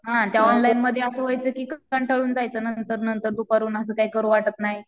हां त्या ऑनलाईनमध्ये असं व्हायचं की कंटाळून जायचं नंतर नंतर दुपारून असं काही करू वाटत नाही.